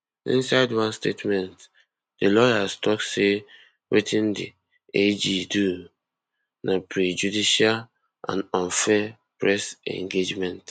inside one statement di lawyers tok say wetin di ag do na prejudicial and unfair press engagement